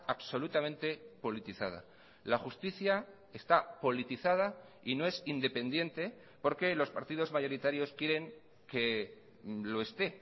absolutamente politizada la justicia está politizada y no es independiente porque los partidos mayoritarios quieren que lo esté